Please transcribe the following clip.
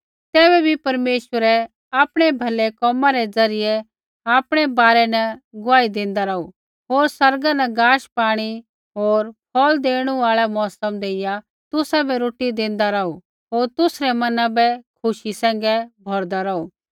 तैबै बी परमेश्वरै आपणै भलै कोमा रै ज़रियै आपणै बारै न गुआही देंदा रौहू होर आसमाना न गाशपाणी होर फ़ौल़ देणु आल़ा मौसम देइया तुसाबै रोटी देंदा रौहू होर तुसरै मना बै खुशी सैंघै भौरदा रौहू